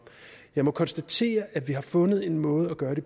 jeg må konstatere at vi har fundet en måde at gøre det